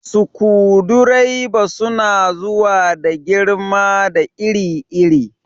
Sukudireba suna zuwa da girma da iri iri.